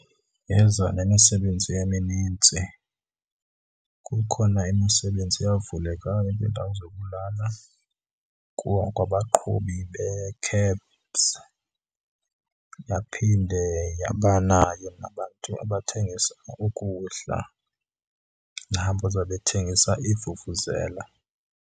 Yeza nemisebenzi eminintsi. Kukhona imisebenzi eyavulekayo neendawo zokulala kuwo onke abaqhubi bee-cabs. Yaphinde yabanayo nabantu abathengisa ukudla nabo babethengisa iivuvuzela.